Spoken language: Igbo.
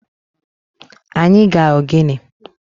Anyi ga-ogene.